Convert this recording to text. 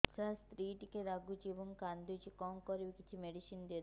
ସାର ସ୍ତ୍ରୀ ଟିକେ ରାଗୁଛି ଏବଂ କାନ୍ଦୁଛି କଣ କରିବି କିଛି ମେଡିସିନ ଦିଅନ୍ତୁ